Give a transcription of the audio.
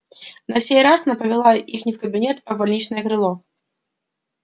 на сей раз она повела их не в кабинет а в больничное крыло